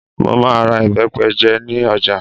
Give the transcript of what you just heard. Mo máa ra ìbẹ́pẹ jẹ ní ọjà